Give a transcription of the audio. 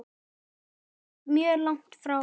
Ekkert mjög langt frá.